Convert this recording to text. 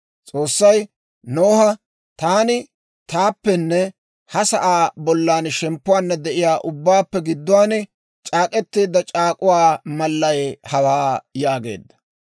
S'oossay Noha, «Taani taappenne ha sa'aa bollan shemppuwaanna de'iyaawaa ubbaappe gidduwaan c'aak'k'etteedda c'aak'k'uwaa malay hawaa» yaageedda.